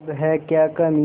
अब है क्या कमीं